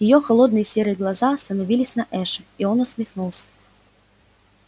её холодные серые глаза остановились на эше и он усмехнулся